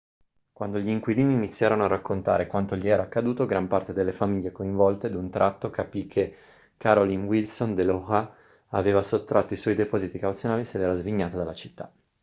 quando gli inquilini iniziarono a raccontare quanto gli era accaduto gran parte delle famiglie coinvolte d'un tratto capì che carolyn wilson dell'oha aveva sottratto i suoi depositi cauzionali e se l'era svignata dalla città